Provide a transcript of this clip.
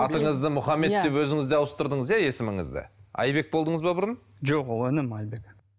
атыңызды мұхаммед деп өзіңіз де ауыстырдыңыз иә есіміңізді айбек болдыңыз ба бұрын жоқ ол інім айбек